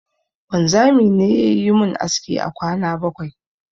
Wanzami ne yayi mun aski a kwana bakwai